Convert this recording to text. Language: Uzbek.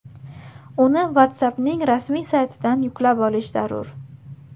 Uni WhatsApp’ning rasmiy saytidan yuklab olish zarur.